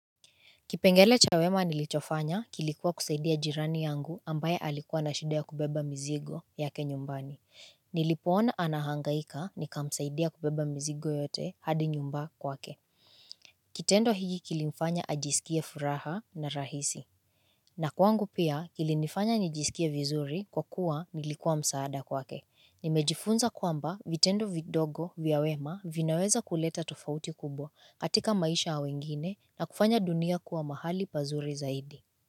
Kipengele cha wema nilichofanya kilikuwa kusaidia jirani yangu ambaye alikuwa na shida ya kubeba mizigo yake nyumbani, nilipoona anahangaika nikamsaidia kubeba mizigo yote hadi nyumba kwake. Kitendo higi kilifanya ajisikie furaha na rahisi. Na kwangu pia kilinifanya nijisikie vizuri kwa kuwa nilikuwa msaada kwake. Nimejifunza kwamba vitendo vidogo vya wema vinaweza kuleta tofauti kubwa katika maisha ya wengine na kufanya dunia kuwa mahali pazuri zaidi.